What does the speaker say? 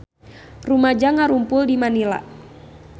Rumaja ngarumpul di Manila